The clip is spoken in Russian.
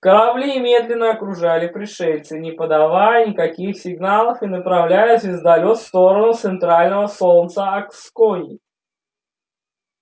корабли медленно окружали пришельца не подавая никаких сигналов и направляя звездолёт в сторону центрального солнца акскони